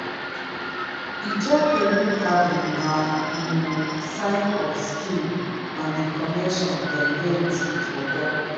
ijaw canoe carving na um sign of skill and di connection dem get wit water.